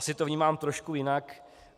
Asi to vnímám trochu jinak.